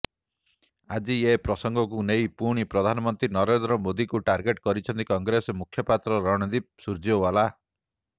ଆଜି ଏ ପ୍ରସଙ୍ଗକୁ ନେଇ ପୁଣି ପ୍ରଧାନମନ୍ତ୍ରୀ ନରେନ୍ଦ୍ର ମୋଦିଙ୍କୁ ଟାର୍ଗେଟ୍ କରିଛନ୍ତି କଂଗ୍ରେସ ମୁଖପାତ୍ର ରଣଦୀପ ସୂର୍ଯେୱାଲା